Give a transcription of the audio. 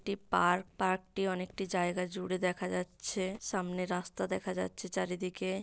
টি park. পার্কটি অনেকটি জায়গা জুড়ে দেখা যাচ্ছে। সামনে রাস্তা দেখা যাচ্ছে চারিদিকে।